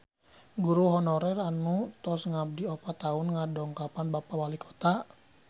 Guru honorer anu tos ngabdi opat tahun ngadongkapan Bapak Walikota